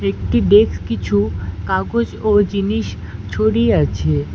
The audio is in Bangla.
একটি ডেক্স কিছু কাগজ ও জিনিস ছড়িয়ে আছে।